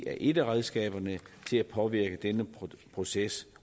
er et af redskaberne til at påvirke denne proces